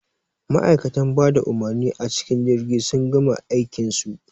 Ma'aikan bada umurmi a cikin jirgi sun gama aikin su